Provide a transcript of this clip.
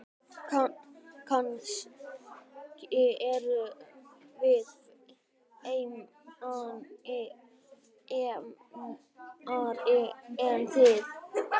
Kannski erum við feimnari en þið.